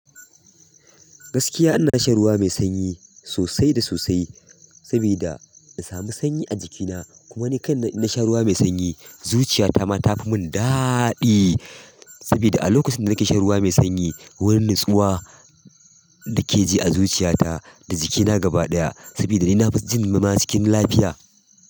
Gaskiya ina shan ruwa mai sanyi sosai da sosai saboda in sami sanyi a jikina. Kuma ni kan na sha ruwa mai sanyi, zuciya ta ma ta fi mun daɗi saboda a lokacin da nake shan ruwa mai sanyi, wani nutsuwa da ke ji a zuciya ta da jikina gaba ɗaya saboda ni na fijin ma cikin lafiya.